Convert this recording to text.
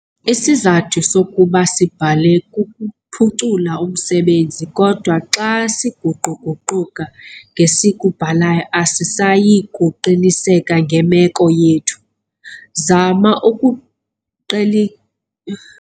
Isizathu sokuba sibhale kukuphucula umsebenzi kodwa xa siguqu-guquka ngesikubhalayo asisayi kuqiniseka ngemeko yethu. Zama ukuq